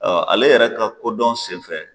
Ɔɔ Ale yɛrɛ ka kodɔn senfɛ